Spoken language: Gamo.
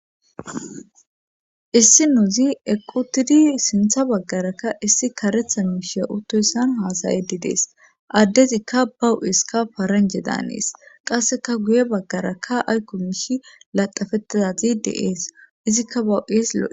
issi nuuzi eqqu utidi sintha baggarakka issi karetha miishee utoyssan haasayedi dees addezikka bawu7iskka faranje daanees qasseka guye baggarakka aykko miishi laqafettidazideees izikka bawu7isloe